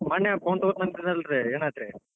ಮನ್ನೇ phone ತೊಗೋತೇನ್ ಅಂದಿದ್ರಲ್ರಿ ಏನಾತ್ರಿ?